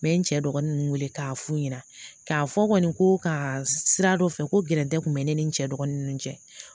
N bɛ n cɛ dɔgɔninw wele k'a f'u ɲɛna k'a fɔ kɔni ko ka sira dɔ fɛ ko gɛrɛndɛ tun bɛ ne ni n cɛ dɔgɔnin ninnu cɛ